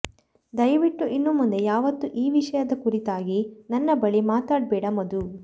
ದಯವಿಟ್ಟು ಇನ್ನು ಮುಂದೆ ಯಾವತ್ತೂ ಈ ವಿಷಯದ ಕುರಿತ್ತಾಗಿ ನನ್ನ ಬಳಿ ಮಾತಾಡಬೇಡ ಮಧು